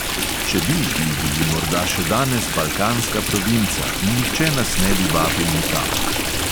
Če bi, bi bili morda še danes balkanska provinca in nihče nas ne bi vabil nikamor.